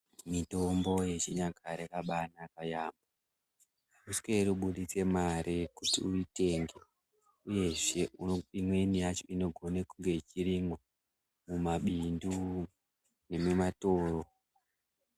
Mitombo yechinyakare yakaba naka yamho amusweri kubuditse mare kuti uyitenge uyezve imweni yacho inogone kunge ichirimwa mumabindu nemimatoro